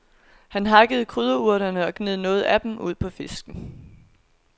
Han hakkede krydderurterne og gned noget af dem ud på fisken.